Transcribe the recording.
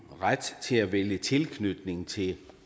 ret til at vælge tilknytning til